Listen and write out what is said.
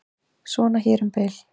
Svona hér um bil.